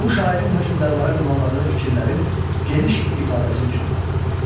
Bu şairin hökmdarlara ünvanladığı fikirlərin geniş ifadəsi üçün lazım idi.